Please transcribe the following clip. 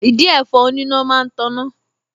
Ìdin ẹ̀fọn oníná máa ń taná